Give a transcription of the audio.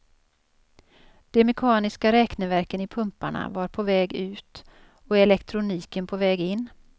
De mekaniska räkneverken i pumparna var på väg ut och elektroniken på väg in.